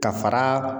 Ka fara